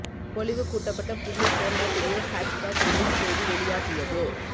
பொலிவு கூட்டப்பட்ட புதிய ஹோண்டா பிரியோ ஹேட்ச்பேக் ரிலீஸ் தேதி வெளியாகியது